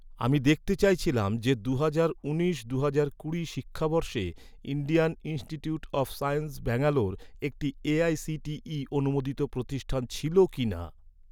আমি দেখতে চাইছিলাম যে দুহাজার উনিশ দুহাজার কুড়ি শিক্ষাবর্ষে Indian Institute of Science Bangalore, একটি এ.আই.সি.টি.ই অনুমোদিত প্রতিষ্ঠান ছিল কিনা?